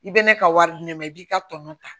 I bɛ ne ka wari di ne ma i b'i ka tɔnɔ ta